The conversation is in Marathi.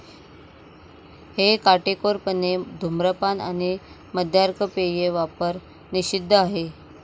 हे काटेकोरपणे धूम्रपान आणि मद्यार्क पेये वापर निषिद्ध आहे.